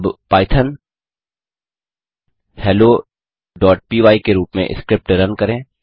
अब पाइथॉन helloपाय के रूप में स्क्रिप्ट रन करें